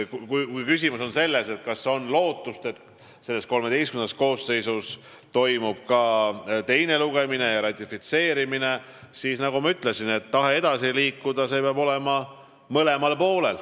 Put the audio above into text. Kui küsimus on selles, kas on lootust, et selle, XIII koosseisu ajal toimub ka teine lugemine ja ratifitseerimine, siis, nagu ma ütlesin, tahe edasi liikuda peab olema mõlemal poolel.